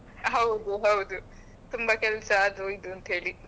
ಹೌದು ಹೌದು ತುಂಬಾ ಕೆಲಸ ಅದು ಇದು ಅಂತ ಹೇಳಿ.